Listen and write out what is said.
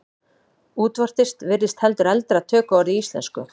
Útvortis virðist heldur eldra tökuorð í íslensku.